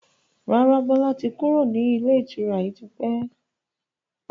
Rárá, Bọlá tí kúrò ní ilé ìtura yìí tipẹ́